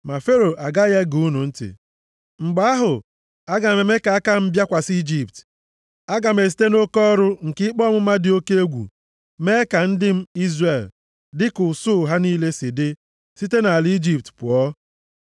ma Fero agaghị ege unu ntị. Mgbe ahụ aga m eme ka aka m bịakwasị Ijipt. Aga m esite nʼoke ọrụ nke ikpe ọmụma dị oke egwu, mee ka ndị m, Izrel, dịka usuu ha niile si dị, site nʼala Ijipt pụọ.